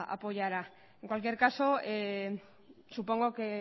apoyará en cualquier caso supongo que